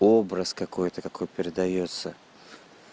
образ какой-то какой передаётся